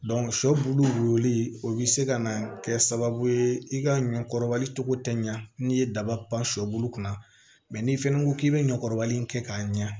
sɔ bulu wuli o bi se ka na kɛ sababu ye i ka ɲɔ kɔrɔbali cogo tɛ ɲa n'i ye daba pan sɔ bulu kunna n'i fɛnɛ ko k'i bɛ ɲɔ kɔrɔbalen in kɛ k'a ɲɛ